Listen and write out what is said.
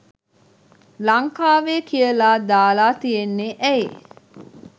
ලංකාවේ කියලා දාලා තියෙන්නේ ඇයි?